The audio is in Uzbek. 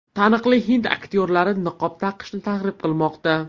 Taniqli hind aktyorlari niqob taqishni targ‘ib qilmoqda.